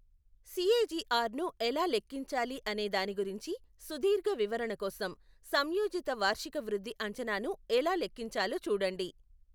సీఏజీఆర్ను ఎలా లెక్కించాలి అనే దాని గురించి సుదీర్ఘ వివరణ కోసం, సంయోజిత వార్షిక వృద్ధి అంచనాను ఎలా లెక్కించాలో చూడండి.